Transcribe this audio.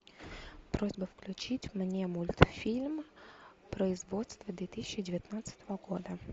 просьба включить мне мультфильм производства две тысячи девятнадцатого года